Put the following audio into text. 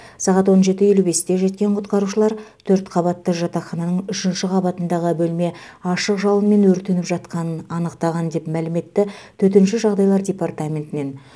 сағат он жеті елу бесте жеткен құтқарушылар төрт қабатты жатақхананың үшінші қабатындағы бөлме ашық жалынмен өртеніп жатқанын анықтаған деп мәлім етті төтенше жағдайлар департаментінен